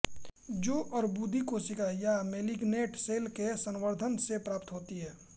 जो अर्बुदी कोशिका या मैलिग्नैंट सेल के संवर्धन से प्राप्त होतीं हैं